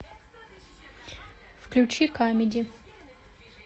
включи камеди